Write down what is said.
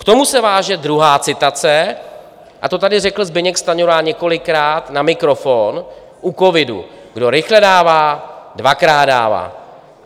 K tomu se váže druhá citace, a to tady řekl Zbyněk Stanjura několikrát na mikrofon u covidu: "Kdo rychle dává, dvakrát dává."